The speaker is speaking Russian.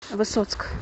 высоцк